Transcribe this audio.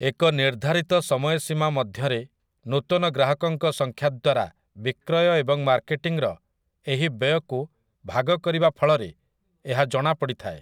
ଏକ ନିର୍ଦ୍ଧାରିତ ସମୟସୀମା ମଧ୍ୟରେ ନୂତନ ଗ୍ରାହକଙ୍କ ସଂଖ୍ୟା ଦ୍ୱାରା ବିକ୍ରୟ ଏବଂ ମାର୍କେଟିଂର ଏହି ବ୍ୟୟକୁ ଭାଗ କରିବା ଫଳରେ ଏହା ଜଣାପଡ଼ିଥାଏ ।